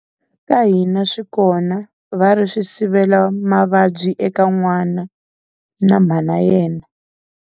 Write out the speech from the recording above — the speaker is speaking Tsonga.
Ka hina swi kona va ri swi sivela mavabyi eka n'wana na mhana yena.